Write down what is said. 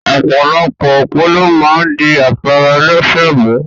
Opolopo opo lo maa n di afara elese mu